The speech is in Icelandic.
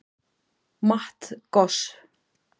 Matt Goss